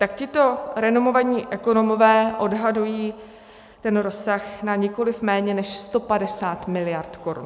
Tak tito renomovaní ekonomové odhadují ten rozsah na nikoli méně než 150 mld. korun.